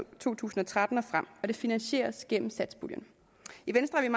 tusind og tretten og frem og det finansieres gennem satspuljen i venstre er